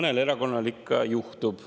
Küll mõnel erakonnal ikka juhtub.